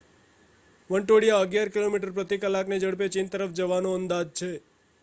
વંટોળિયો અગિયાર કિલોમીટર પ્રતિ કલાકની ઝડપે ચીન તરફ જવાનો અંદાજ છે